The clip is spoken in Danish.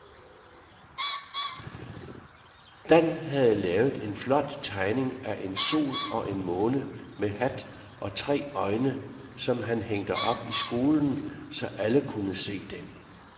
Dan havde lavet en flot tegning af en sol og en måne med hat og tre øjne, som blev hængt op i skolen, så alle kunne se den.